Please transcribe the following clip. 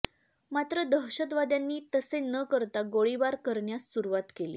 मात्र दहशतवाद्यांनी तसे न करता गोळीबार करण्यास सुरुवात केली